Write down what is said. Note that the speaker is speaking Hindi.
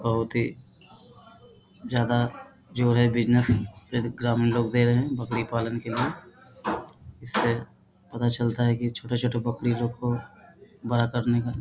बहुत ही ज्यादा जो है बिज़नेस एकदम ई लोग दे रहें हैं बकरी पालन के लिए। इससे पता चलता है की छोटा-छोटा बकरी लोग को बड़ा करने में --